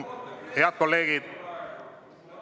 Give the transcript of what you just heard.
Head kolleegid!